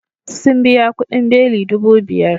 Sun biya kudin beli dubu biyar